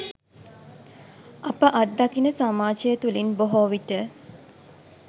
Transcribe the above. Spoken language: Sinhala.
අප අත්දකින සමාජය තුළින් බොහෝ විට